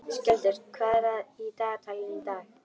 Skjöldur, hvað er í dagatalinu í dag?